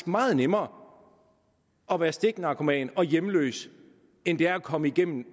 meget nemmere at være stiknarkoman og hjemløs end det er at komme igennem